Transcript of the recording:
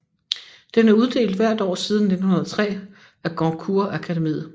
Den er uddelt hvert år siden 1903 af Goncourtakademiet